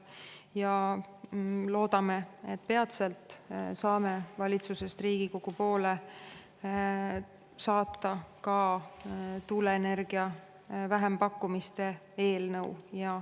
Ja loodame, et peatselt saame valitsusest Riigikogu poole saata ka tuuleenergia vähempakkumiste eelnõu.